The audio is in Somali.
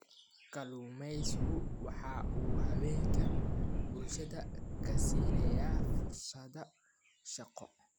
Kalluumaysigu waxa uu haweenka bulshada ka siinayaa fursado shaqo.